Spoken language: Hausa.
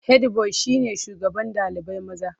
Hedi boyi shine shugaban ɗalibai maza.